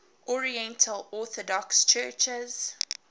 oriental orthodox churches